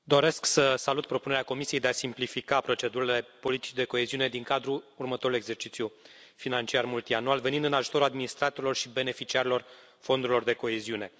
Domnule președinte, doresc să salut propunerea Comisiei de a simplifica procedurile politicii de coeziune din cadrul următorului exercițiu financiar multianual, venind în ajutorul administratorilor și beneficiarilor fondurilor de coeziune.